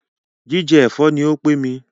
Jíjẹ ẹ̀fọ́ ní o pé mí.